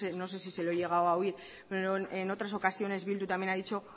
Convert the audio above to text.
no sé si se lo he llegado a oír pero en otras ocasiones bildu también ha dicho